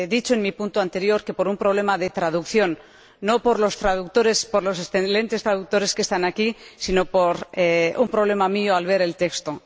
En mi punto anterior he dicho por un problema de traducción, no por los traductores, por los excelentes traductores que están aquí, sino por un problema mío al ver el texto.